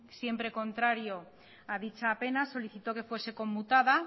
siempre contrario a dicha pena solicitó que fuese conmutada